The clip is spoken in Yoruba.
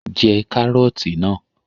Jẹ Kàrọ́ọ̀tì náà!